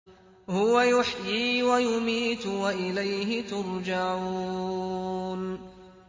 هُوَ يُحْيِي وَيُمِيتُ وَإِلَيْهِ تُرْجَعُونَ